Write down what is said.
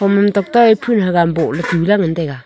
hom ham tokto ye phoon hagam boh tula ngantaiga.